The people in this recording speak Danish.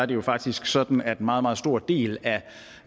det jo faktisk sådan at en meget meget stor del